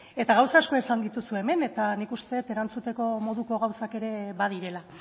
gauza asko esan dituzu hemen eta nik uste dut erantzuteko moduko gauzak ere badirela